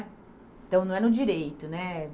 Então, não é no direito, né?